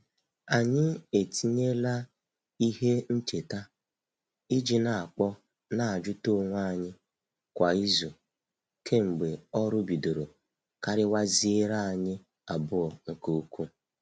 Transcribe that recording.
Anyị etinyela ihe ncheta i ji n'akpọ n'ajuta onwe anyi kwa izu kemgbe ọrụ bidoro kariwaziere anyi abụọ nke ukwuu.